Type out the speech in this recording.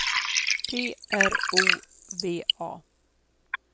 P R O V A